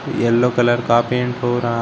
yellow colour का paint हो रहा--